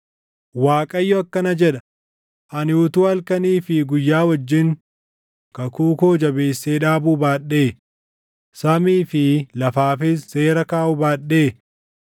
Waaqayyo akkana jedha: ‘Ani utuu halkanii fi guyyaa wajjin kakuu koo jabeessee dhaabuu baadhee, samii fi lafaafis seera kaaʼuu baadhee,